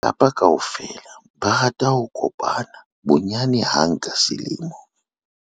ba lelapa kaofela ba rata ho kopana bonyane hang ka selemo